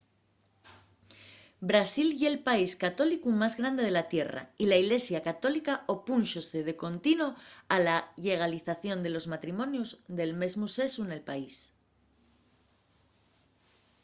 brasil ye’l país católicu más grande de la tierra y la ilesia católica opúnxose de contino a la llegalización de los matrimonios del mesmu sexu nel país